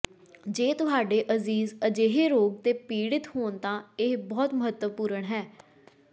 ਜੇ ਤੁਹਾਡੇ ਅਜ਼ੀਜ਼ ਅਜਿਹੇ ਰੋਗ ਤੋਂ ਪੀੜਿਤ ਹੋਣ ਤਾਂ ਇਹ ਬਹੁਤ ਮਹੱਤਵਪੂਰਣ ਹੈ